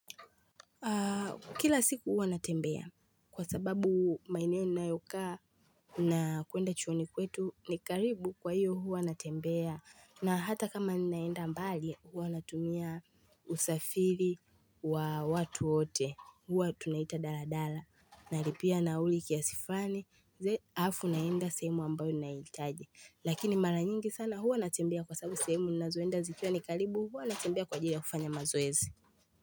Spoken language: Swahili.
Kila siku huwa natembea kwa sababu maeneo ninayokaa na kuenda chuoni kwetu ni karibu kwa hiyo huwa natembea. Na hata kama ninaenda mbali huwa natumia usafiri wa watu wote, huwa tunaita daladala Nalipia nauli kiasi fulani halafu naenda sehemu ambayo naitaji lakini mara nyingi sana huwa natembea kwa sababu sehemu ninazoenda zikiwa ni karibu huwa natembea kwa ajili ya kufanya mazoezi.